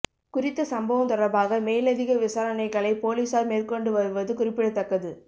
குறித்த சம்பவம் தொடர்பாக மேலதிக விசாரணைகளை பொலிஸார் மேற்கொண்டு வருவது குறிப்பிடத்தக்கது